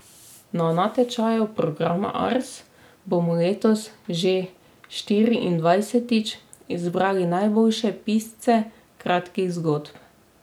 Na natečaju programa Ars bomo letos že štiriindvajsetič izbirali najboljše pisce kratkih zgodb.